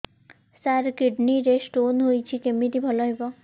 ସାର kidney ରେ stone ହେଇଛି କମିତି ଭଲ ହେବ